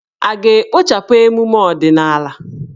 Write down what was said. A ga-ekpochapụ emume ọdịnala?